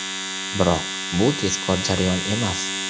Biroq bu tezkor jarayon emas.